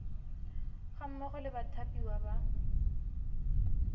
ga mmogo le bathapiwa ba